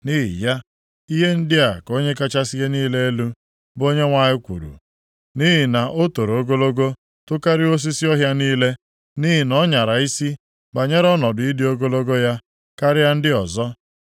“ ‘Nʼihi ya, ihe ndị a ka Onye kachasị ihe niile elu, bụ Onyenwe anyị kwuru: Nʼihi na o + 31:10 Ya bụ, sida ukwu ahụ toro ogologo tokarịa osisi ọhịa niile, nʼihi na ọ nyara isi banyere ọnọdụ ịdị ogologo ya karịa ndị ọzọ,